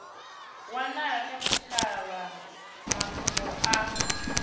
wanala kha tshitshavha mafhungo a